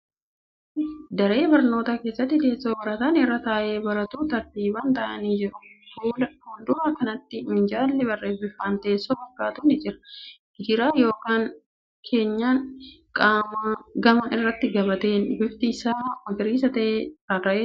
Daree barnootaa keessatti teessoo barataan irra taa'ee baratu tartiiban taa'anii jiru. Fuuldura kanatti minjaalli bifaan teessoo fakkaatu ni jira. Gidaara ykn keenyan gamaa irratti gabateen bifti isaa magariisa ta'e rarra'ee jira.